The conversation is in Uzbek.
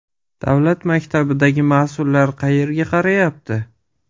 Davlat maktabidagi mas’ullar qayerga qarayapti?